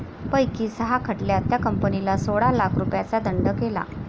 पैकी सहा खटल्यात त्या कंपनीला सोळा लाख रुपयांचा दंड केला